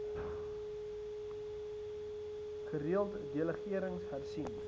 gereeld delegerings hersien